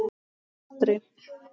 Það varð aldrei.